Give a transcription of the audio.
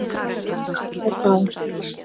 Ég ætla að fá.